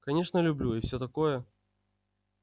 конечно люблю и все такое